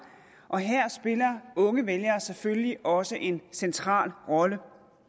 og her spiller unge vælgere selvfølgelig også en central rolle